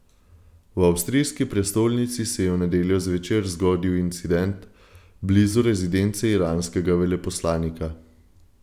V avstrijski prestolnici se je v nedeljo zvečer zgodil incident blizu rezidence iranskega veleposlanika.